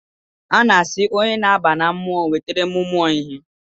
Ana asị onye na-aba na mmụọ nwetere mumụọ ihe